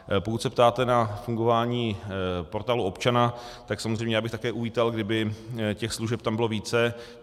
Pokud se ptáte na fungování Portálu občana, tak samozřejmě já bych také uvítal, kdyby těch služeb tam bylo více.